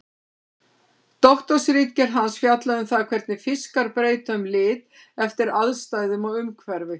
Doktorsritgerð hans fjallaði um það hvernig fiskar breyta um lit eftir aðstæðum og umhverfi.